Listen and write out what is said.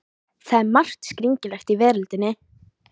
Það er margt skringilegt í veröldinni.